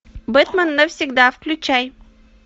бэтмен навсегда включай